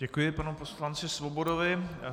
Děkuji panu poslanci Svobodovi.